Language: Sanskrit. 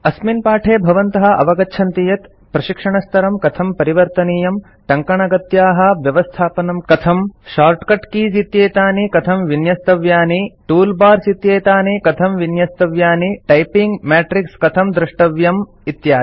अस्मिन् पाठे भवन्तः अवगच्छन्ति यत् प्रशिक्षणस्तरं कथं परिवर्तनीयम् टङ्कणगत्याः व्यवस्थापनं कथम् शॉर्टकट कीज़ इत्येतानि कथं विन्यस्तव्यानि कन्फिगर टूलबार्स इत्येतानि कथं विन्यस्तव्यानि कन्फिगर टैपिंग मेट्रिक्स कथं दृष्टव्यम् इत्यादि